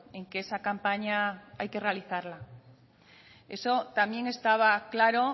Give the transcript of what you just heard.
en que esa campaña hay que realizarla eso también estaba claro